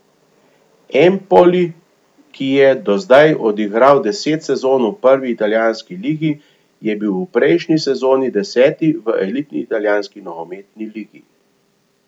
Empoli, ki je do zdaj odigral deset sezon v prvi italijanski ligi, je bil v prejšnji sezoni deseti v elitni italijanski nogometni ligi.